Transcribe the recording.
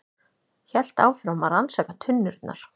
Hélt áfram að rannsaka tunnurnar.